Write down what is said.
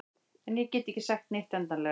En ég get ekki sagt neitt endanlega.